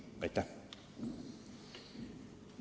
Aitäh!